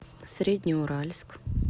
среднеуральск